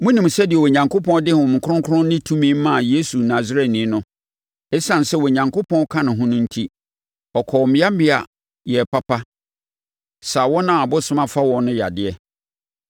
Monim sɛdeɛ Onyankopɔn de Honhom Kronkron ne tumi maa Yesu Nasareni no. Esiane sɛ Onyankopɔn ka ne ho no enti, ɔkɔɔ mmeammea, yɛɛ papa, saa wɔn a ɔbonsam afa wɔn no yadeɛ.